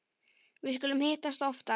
Við skulum hittast oftar